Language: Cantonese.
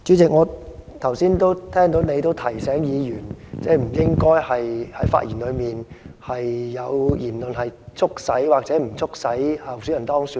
主席，我剛才聽到你提醒議員，不應該在其發言中有促使或不促使候選人當選的言論。